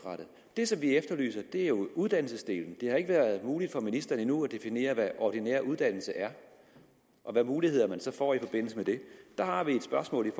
det som vi efterlyser er uddannelsesdelen det har ikke været muligt for ministeren endnu at definere hvad ordinær uddannelse er og hvilke muligheder man så får i forbindelse med det der har vi et spørgsmål